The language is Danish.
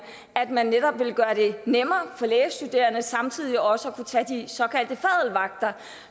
at man netop ville gøre det nemmere for lægestuderende samtidig også at kunne tage de såkaldte fadl vagter